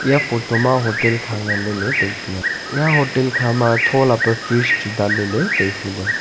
ya photo ma hotel kha ngan lele tai tai a ya hotel kha ma thola pe fresh chu wai danle le tai hu le.